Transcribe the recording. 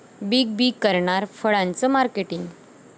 big B करणार फळांचं marketing